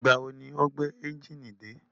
Ìgbà wo ni o gbé ẹ́njìnì dé?